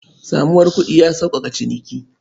Samuwar kuɗi ya sauƙaƙa ciniki.